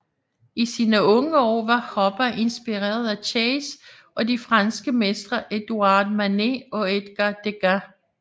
I sine unge år var Hopper inspireret af Chase og de franske mestre Édouard Manet og Edgar Degas